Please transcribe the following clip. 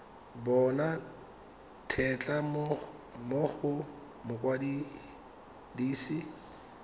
bona tetla mo go mokwadise